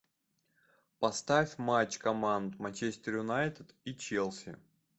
поставь матч команд манчестер юнайтед и челси